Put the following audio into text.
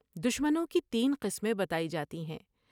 دشمنوں کی تین قسمیں بتائی جاتی ہیں ۔